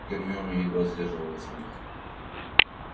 гермиона едва сдерживала смех